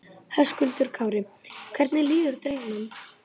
Höskuldur Kári: Hvernig líður drengnum?